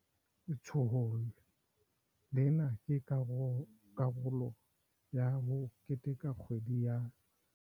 Letsholo lena ke karolo ya ho keteka kgwedi ya.